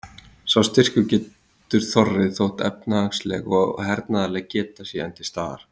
Sá styrkur getur þorrið þótt efnahagsleg og hernaðarleg geta sé enn til staðar.